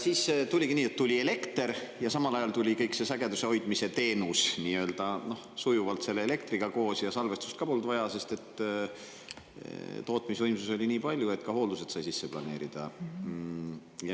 Siis oligi nii, et tuli elekter ja samal ajal tuli kõik see sageduse hoidmise teenus sujuvalt selle elektriga koos ja salvestust ka polnud vaja, sest tootmisvõimsusi oli nii palju, et ka hooldused sai sisse planeerida.